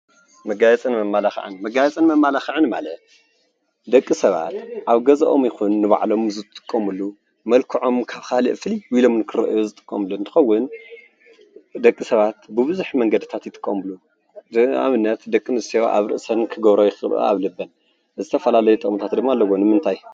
መጋየፅን መመላኽዕን፦ መጋየፅን መመላኽዕን ማለት ደቂ ሰባት ኣብ ገዝኦም ይኹን ነንባዕሎምን ዝጥቀምሉ መልክዖም ካብ ካልእ ፍልይ ኢሎም ንኽረአዩ ዝጥቀምሉ እንትኸውን ደቂ ሰባት ብብዙሕ መንገድታት ይጥቀምሉ። ንኣብነት ደቂ ኣንስትዮ ኣብ ርእሰን ክገብርኦ ይኽእላ ኣብ ልበን ዝተፈላለዩ ጥቅምታት ድማ ኣለዎ ንምንታይ?